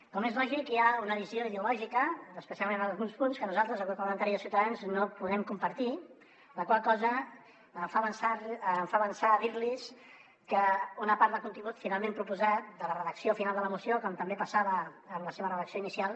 com és lògic hi ha una visió ideològica especialment en alguns punts que nosaltres el grup parlamentari de ciutadans no podem compartir la qual cosa em fa avançar dir los que una part del contingut finalment proposat de la redacció final de la moció com també passava amb la seva redacció inicial